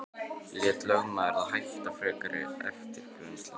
Lét lögmaður þá hætta frekari eftirgrennslan.